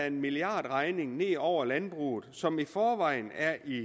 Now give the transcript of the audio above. en milliardregning vælte ned over landbruget som i forvejen er i